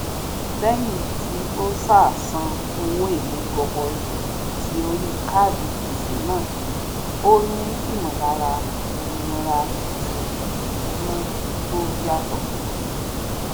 lẹyìn tí ó ṣáà sàn owó èèlé gọbọi tí orí káàdi gbèsè náà òní ímọlára òmìnira ti ìṣúná tó yàtọ